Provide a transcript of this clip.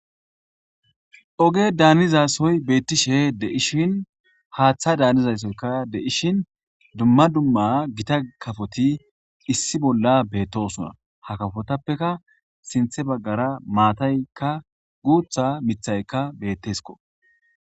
Oge daniza soyi betishe deishini hatha danizayisika deishini duma duma gita kafoti issi bolla betosona ha kafotafeka sinthe baggara matayika gutha mithayika betesiko.